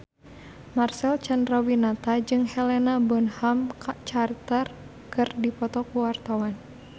Marcel Chandrawinata jeung Helena Bonham Carter keur dipoto ku wartawan